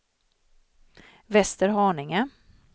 Västerhaninge